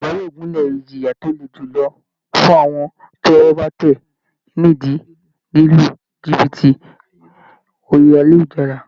Ìjọba yóò gúnlè ìjìyà tó le julọ fún àwọn tí ọwọ́ bá tẹ̀ ni ìdí lílu jìbìtì orí ayélujára